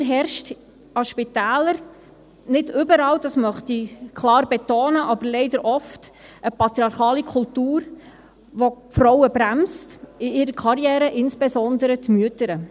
Leider herrscht an Spitälern – nicht überall, das möchte ich klar betonen, aber leider oft – eine patriarchale Kultur, welche die Frauen in ihrer Karriere bremst, insbesondere die Mütter.